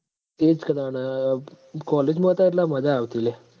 એ જ ક તાણ college માં એટલ મજા આવતી લ્યા